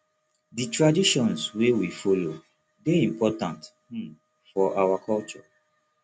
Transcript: di traditions wey we follow dey important um for our culture